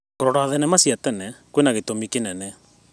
Kũrora thenema cia tene kwĩna gĩtũmi kĩnene.